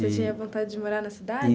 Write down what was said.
Você tinha vontade de morar na cidade?